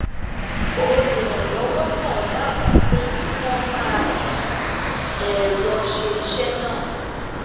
olùrànlọ́wọ́ náà dábàá pé kí wọ́n máa fi ẹ̀rọ ṣe iṣẹ́ náà